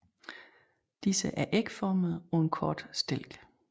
Disse er ægformede på en kort stilk